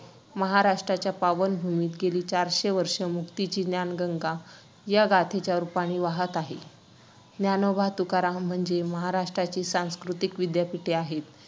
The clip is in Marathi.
that's specifically wrong point मुली सुद्धा मुलास मुलांनकडे बघतात. मी त्याच topic वरती तुला बोलतोय, माझ्या मित्रान मित्रा सोबत झालंय तसं.